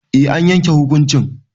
Eh an yanke hukuncin